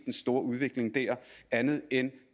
den store udvikling der andet end